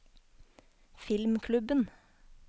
filmklubben